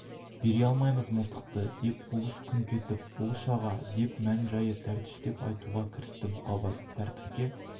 бере алмаймыз мылтықты деп бұлыш күңк етіп бұлыш аға деп мән-жайды тәптіштеп айтуға кірісті бұқабай тәртіпке